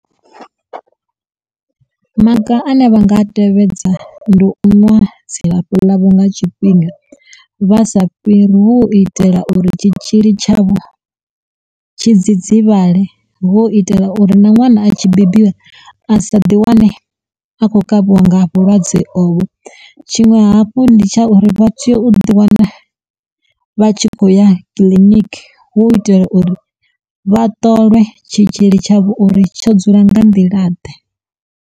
Maga ane vha nga a tevhedza ndi u ṅwa dzilafho ḽavho nga tshifhinga vha sa fhiri vho itela uri tshitzhili tshavho tshidzidzivhale, vho itela uri na ṅwana a tshi bebiwa a sa ḓi wane a khou kavhiwa nga vhulwadze ovho, tshiṅwe hafhu ndi tsha uri vha teyo u ḓiwana vha tshi khou ya clinic hu u itela uri vha ṱolwe tshitzhili tshavho uri tsho dzula nga nḓila ḓe.